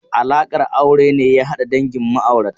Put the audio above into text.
Alaƙar aure ne ya hada dangin ma'aurata.